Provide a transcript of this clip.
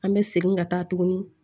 An bɛ segin ka taa tuguni